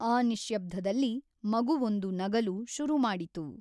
ಆ ನಿಶ್ಯಬ್ಧದಲ್ಲಿ ಮಗುವೊಂದು ನಗಲು ಶುರು ಮಾಡಿತು.